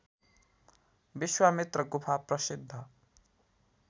विश्वामित्र गुफा प्रसिद्ध